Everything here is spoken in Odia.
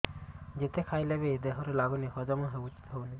ଯେତେ ଖାଇଲେ ବି ଦେହରେ ଲାଗୁନି ହଜମ ହଉନି